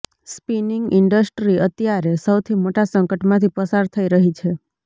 spinning industry અત્યારે સૌથી મોટા સંકટમાંથી પસાર થઈ રહી છે